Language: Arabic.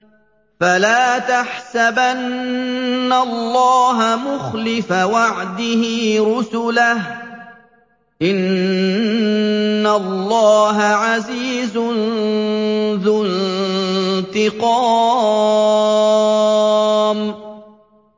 فَلَا تَحْسَبَنَّ اللَّهَ مُخْلِفَ وَعْدِهِ رُسُلَهُ ۗ إِنَّ اللَّهَ عَزِيزٌ ذُو انتِقَامٍ